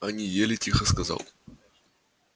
они ели тихо сказал